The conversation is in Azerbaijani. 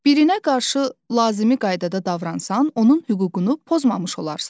Birinə qarşı lazımi qaydada davransan, onun hüququnu pozmamış olarsan.